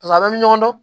Pasa a bɛ ɲɔgɔn dɔn